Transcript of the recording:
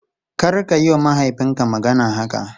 Karka yiwa mahaifinka magana haka!